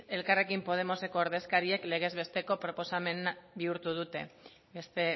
elkarrekin podemoseko ordezkariek legez besteko proposamen bihurtu dute beste